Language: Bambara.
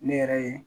Ne yɛrɛ ye